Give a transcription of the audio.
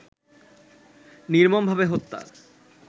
নির্মমভাবে হত্যা